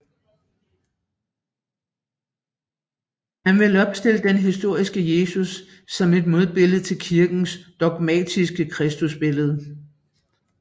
Man ville opstille den historiske Jesus som et modbillede til kirkens dogmatiske Kristusbillede